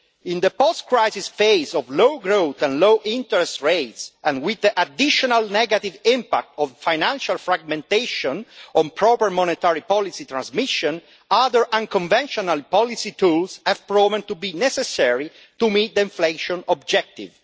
In the post crisis phase of low growth and low interest rates, and with the additional negative impact of financial fragmentation on proper monetary policy transmission, other unconventional policy tools have proven to be necessary to meet the inflation objective.